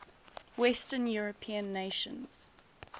western european nations